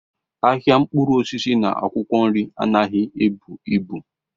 Ahịa mkpụrụ osisi na akwụkwọ nri anaghị ebu ibu.